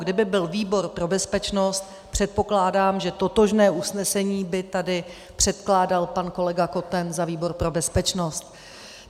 Kdyby byl výbor pro bezpečnost, předpokládám, že totožné usnesení by tady předkládal pan kolega Koten za výbor pro bezpečnost.